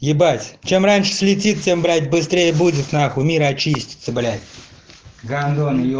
ебать чем раньше слетит тем блять быстрее будет нахуй мир очистится блять гандоны е